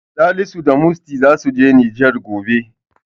Salisu da Musty zasu je Nijar gobe.